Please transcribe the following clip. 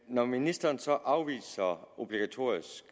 når ministeren så afviser obligatorisk